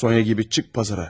Sonya kimi çıx bazara.